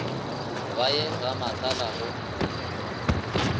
ba ye ga matlala go